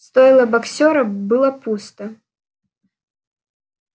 стойло боксёра было пусто